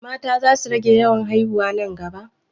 Mata za su rage yawan haiwuna nan gaba?